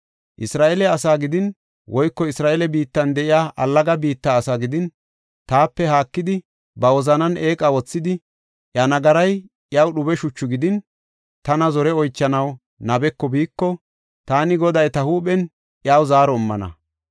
“Isra7eele asaa gidin woyko Isra7eele biittan de7iya allaga biitta asaa gidin, taape haakidi, ba wozanan eeqa wothidi, iya nagaray iyaw dhube shuchu gidin, tana zore oychanaw nabeko biiko, taani Goday ta huuphen iyaw zaaro immana.